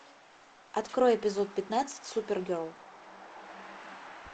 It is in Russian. открой эпизод пятнадцать супергерл